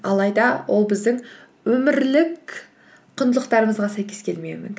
алайда ол біздің өмірлік құндылықтарымызға сәйкес келмеуі мүмкін